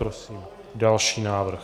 Prosím další návrh.